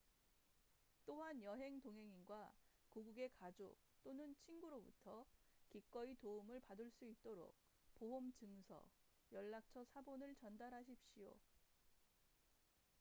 또한 여행 동행인과 고국의 가족 또는 친구로부터 기꺼이 도움을 받을 수 있도록 보험 증서/연락처 사본을 전달하십시오